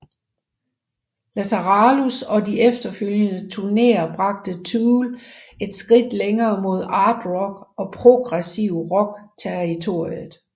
Lateralus og de efterfølgende turnéer bragte Tool et skridt længere mod art rock og progressiv rock territoriet